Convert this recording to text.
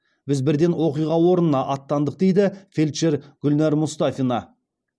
біз бірден оқиға орнына аттандық дейді фельдшер гүлнар мұстафина